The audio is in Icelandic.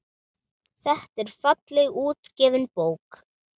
Þetta er fallega útgefin bók.